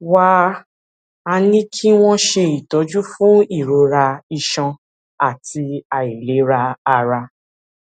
wá a ní kí wón ṣe ìtọjú fún ìrora iṣan àti àìlera ara